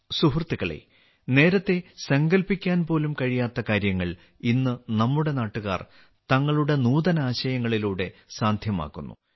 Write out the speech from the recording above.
സുഹൃത്തുക്കളേ നേരത്തെ സങ്കൽപ്പിക്കാൻ പോലും കഴിയാത്ത കാര്യങ്ങൾ ഇന്ന് നമ്മുടെ നാട്ടുകാർ തങ്ങളുടെ നൂതനാശയങ്ങളിലൂടെ സാധ്യമാക്കുന്നു